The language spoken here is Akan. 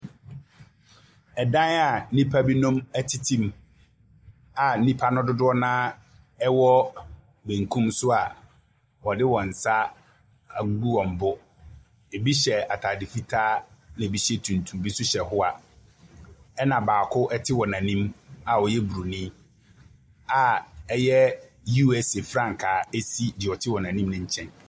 Ɛdan a nnipabinom tete mu, a nnipa no dodoɔ no ara wɔ benkum so a wɔde wɔn nsa agu wɔn bo. Ɛbi hyɛ atadeɛ fitaa, ɛna ɛbi hyɛ tuntum, bi nso hyɛ hoa, ɛna baako te wɔn anim a ɔyɛ bronin, a ɛyɛ, USA frankaa si deɛ ɔte wɔn anim no nkyɛn.